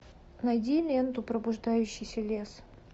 найди ленту пробуждающийся лес